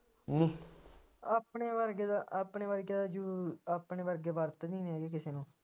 ਆਪਣੇ ਵਰਗੇ ਦਾ ਆਪਣੇ ਵਰਗੇ ਦਾ ਜੁ ਆਪਣੇ ਵਰਗੇ ਵਰਤ ਈ ਨੀ ਸਕਦੇ ਕਿਸੇ ਨੂੰ